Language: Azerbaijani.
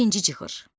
Birinci çıxış.